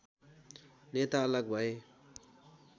नेता अलग भए